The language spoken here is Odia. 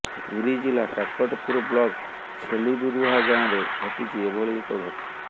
ପୁରୀ ଜିଲ୍ଲା କାକଟପୁର ବ୍ଲକ୍ ଛେଲିବରୁହାଁ ଗାଁରେ ଘଟିଛି ଏଭଳି ଏକ ଘଟଣା